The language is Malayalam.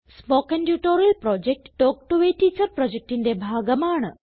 spoken tutorial project talk to a teacher പ്രൊജക്റ്റിന്റെ ഭാഗമാണ്